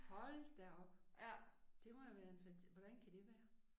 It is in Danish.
Hold da op. Det må da være en hvordan kan det være